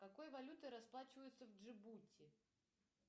какой валютой расплачиваются в джибути